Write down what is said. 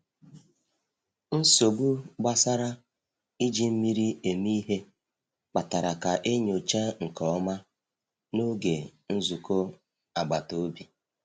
Nsogbu gbasara iji mmiri eme ihe kpatara ka e nyochaa nke ọma n’oge nzukọ agbata obi.